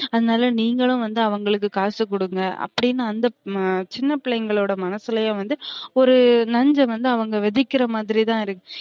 அதுனால நீங்களும் வந்து அவுங்களுக்கு காசு கொடுங்க அப்டின்னு அந்த சின்ன பிள்ளைங்கலோட மனசுலையும் வந்து ஒரு நஞ்ச வந்து அவுங்க விதைக்குற மாரி தான் இருக்கு